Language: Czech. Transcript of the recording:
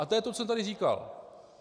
A to je to, co jsem tady říkal.